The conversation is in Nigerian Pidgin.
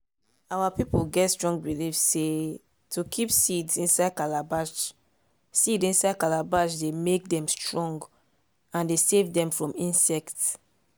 our people get strong believe sey to kip seeds inside calabash seeds inside calabash dey make dem strong and dey savedem from insects.